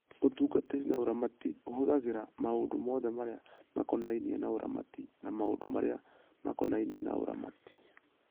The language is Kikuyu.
Ũtungatĩri wa ũramati ũhũthagĩra maũndũ mothe marĩa makonainie na ũramati na maũndũ marĩa makonainie na ũramati.